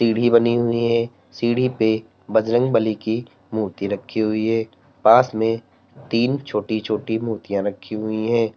सीढ़ी बनी हुई है सीढ़ी पे बजरंग बली की मूर्ति रखी हुई है पास में तीन छोटी छोटी मूर्तियां रखी हुई है।